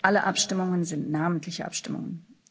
Alle Abstimmungen sind namentliche Abstimmungen.